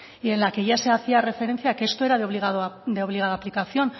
y en la que ya se hacía referencia a que esto era de obligada aplicación